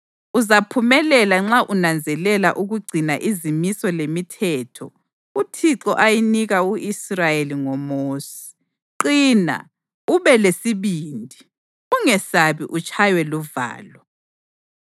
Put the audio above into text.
Uzaphumelela nxa unanzelela ukugcina izimiso lemithetho uThixo ayinika u-Israyeli ngoMosi. Qina, ube lesibindi. Ungesabi utshaywe luvalo.